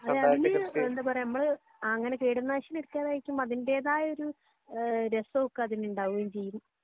അതേ അതിനു എന്താ പറയാ നമ്മള് അങ്ങനെ കീട നാശിനി അടിക്കാതെ കഴിക്കുമ്പോ അതിന്റേതായ ഒരു രസഒക്കെ അതിനു ഉണ്ടാകുകയും ചെയ്യും